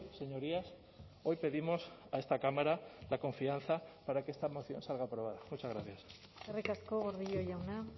señorías hoy pedimos a esta cámara la confianza para que esta moción salga aprobada muchas gracias eskerrik asko gordillo jauna